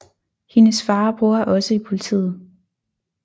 Hendes far og bror er også i politiet